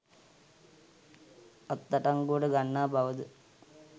අත්අඩංගුවට ගන්නා බවද